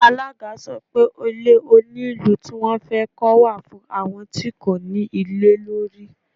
Alága sọ pé Ilé onílùú tí wón fẹ́ kọ́ wà fún àwọn tí kò ní ilé lórí.